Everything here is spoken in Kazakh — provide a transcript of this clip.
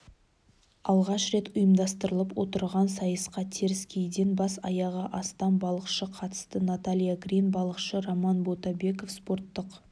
алғаш рет ұйымдастырылып отырған сайысқа теріскейден бас-аяғы астам балықшы қатысты наталья грин балықшы роман ботабеков спорттық